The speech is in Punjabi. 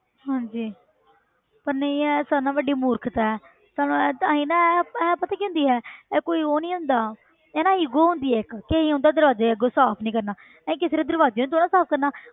ਹਾਂਜੀ ਪਰ ਨਹੀਂ ਇਹ ਸਾਰਿਆਂ ਨਾਲੋਂ ਵੱਡੀ ਮੂਰਖਤਾ ਹੈ ਤੁਹਾਨੂੰ ਇਹ ਤਾਂ ਹੀ ਨਾ ਇਹ ਇਹ ਪਤਾ ਕੀ ਹੁੰਦੀ ਹੈ ਇਹ ਕੋਈ ਉਹ ਨੀ ਹੁੰਦਾ ਇਹ ਨਾ ego ਹੁੰਦੀ ਹੈ ਇੱਕ ਕਿ ਅਸੀਂ ਉਹਨਾਂ ਦੇ ਦਰਵਾਜ਼ੇ ਅੱਗੋਂ ਸਾਫ਼ ਨੀ ਕਰਨਾ ਇਹ ਕਿਸੇ ਦੇ ਦਰਵਾਜ਼ੇ ਨੂੰ ਥੋੜ੍ਹਾ ਸਾਫ਼ ਕਰਨਾ